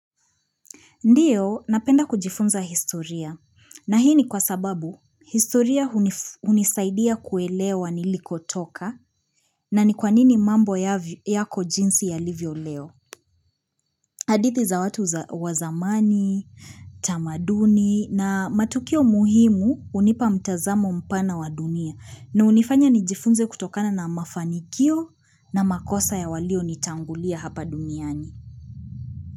Ndio napenda kujifunza historia na hii ni kwa sababu historia hunisaidia kuelewa nilikotoka na ni kwanini mambo yako jinsi yalivyo leo. Hadithi za watu za wa zamani, tamaduni na matukio muhimu hunipa mtazamo mpana wa dunia na hunifanya nijifunze kutokana na mafanikio na makosa ya walio nitangulia hapa duniani.